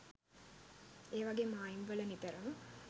ඒවගේ මායිම් වල නිතරම